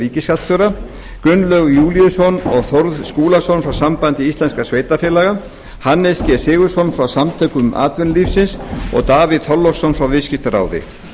ríkisskattstjóra gunnlaug júlíusson og þórð skúlason frá sambandi íslenskra sveitarfélaga hannes g sigurðsson frá samtökum atvinnulífsins og davíð þorláksson frá viðskiptaráði